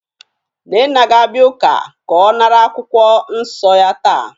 Nnenna ga-abia uka ka o nara akwukwo nso ya taa